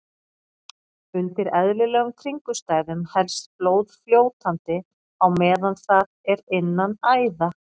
Undir eðlilegum kringumstæðum helst blóð fljótandi á meðan það er innan æða.